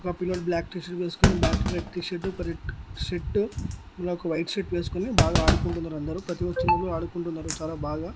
ఒక పిల్లోడు black T shirt వేసుకొని బ్లాక్ కలర్ టీ-షర్ట్ ఒక షర్ట్ మళ్ళా ఒక వైట్ షర్ట్ వేసుకుని బాగా ఆడుకుంటున్నారు అందరూ ప్రతి ఒక్కరు ఆడుకుంటున్నారు చాలా బాగా.